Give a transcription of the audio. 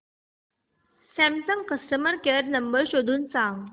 Samsung customer care number शोधून सांग